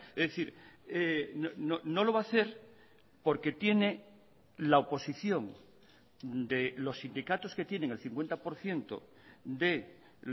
es decir no lo va a hacer porque tiene la oposición de los sindicatos que tienen el cincuenta por ciento de